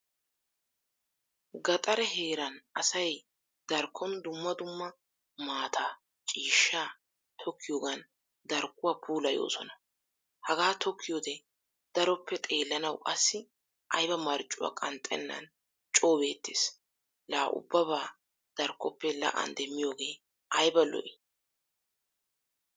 Gaxare heeran asay darkkon dumma dumma maataa, ciishshaa tokkiyogan darkkuwaa puulayosona. Hagaa tokkiyode daroppe xeelanawu qassi ayba marccuwaa qnxxennan coo beettees. La ubbaba darkkoppe la'an demmiyoge ayba lo'i?